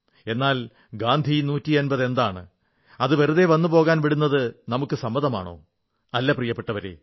എന്നാൽ ഗാന്ധി 150 എന്താണ് അത് വെറുതെ വന്ന് പോകാൻ വിടുന്നത് നമുക്ക് സമ്മതമാണോ അല്ല പ്രിയപ്പെട്ടവരേ